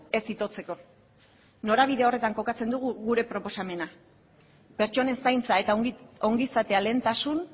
ez itotzeko norabide horretan kokatzen dugu gure proposamena pertsonen zaintza eta ongizatea lehentasun